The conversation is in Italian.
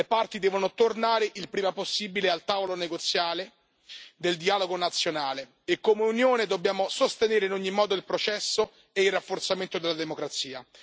Le parti devono tornare il prima possibile al tavolo negoziale del dialogo nazionale e come Unione dobbiamo sostenere in ogni modo il processo e il rafforzamento della democrazia.